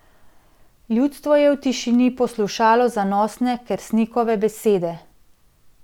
Ljudstvo je v tišini poslušalo zanosne Kersnikove besede.